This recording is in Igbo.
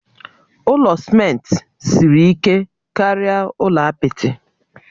Ụlọ simenti siri ike karịa ụlọ apịtị